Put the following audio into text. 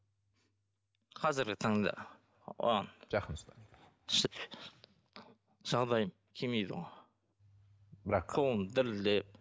қазіргі таңда оған жақын ұста жағдайым келмейді ғой бірақ қолым дірілдеп